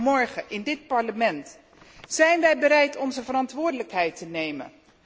Morgen in dit Parlement zijn wij bereid onze verantwoordelijkheid te nemen.